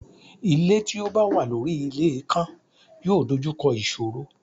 Ilé tí ó bá wà lórí ilé ikán yóò dojú kọ ìṣòro.